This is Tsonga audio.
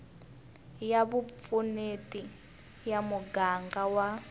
ya vupfuneti ya muganga wa